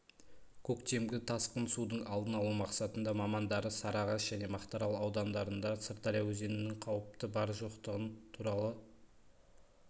көктемгі тасқын судың алдын алу мақсатында мамандары сарыағаш және мақтарал аудандарында сырдария өзенінде қауіптің бар-жоқтығы туралы